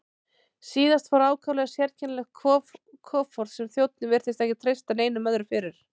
Síðast fór ákaflega sérkennilegt kofort sem þjónninn virtist ekki treysta neinum öðrum fyrir.